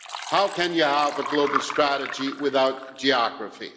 How can you have a global strategy without geography?